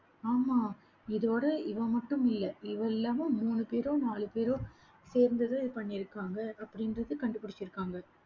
ஆமா, இதோட இவள் மட்டும் இல்லை இவள் இல்லாம மூணு பேரோ, நாலு பேரோ, சேர்ந்துதான் இதை பண்ணியிருக்காங்க அப்படின்றது கண்டுபிடிச்சிருக்காங்க